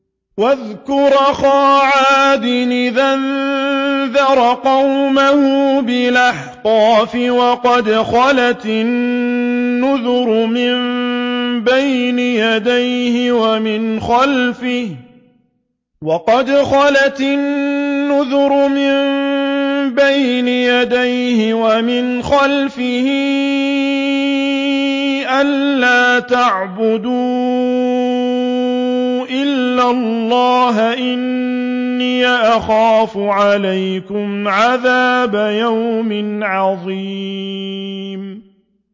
۞ وَاذْكُرْ أَخَا عَادٍ إِذْ أَنذَرَ قَوْمَهُ بِالْأَحْقَافِ وَقَدْ خَلَتِ النُّذُرُ مِن بَيْنِ يَدَيْهِ وَمِنْ خَلْفِهِ أَلَّا تَعْبُدُوا إِلَّا اللَّهَ إِنِّي أَخَافُ عَلَيْكُمْ عَذَابَ يَوْمٍ عَظِيمٍ